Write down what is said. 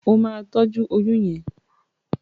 O ma tọjú oyún yén!